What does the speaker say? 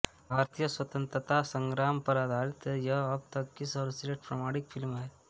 भारतीय स्वतन्त्रता संग्राम पर आधारित यह अब तक की सर्वश्रेष्ठ प्रामाणिक फ़िल्म है